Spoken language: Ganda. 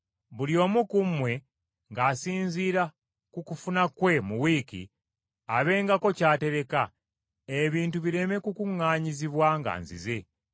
Buli omu ku mmwe ng’asinziira ku kufuna kwe mu wiiki, abengako ky’atereka, ebintu bireme kukuŋŋaanyizibwa nga nzize.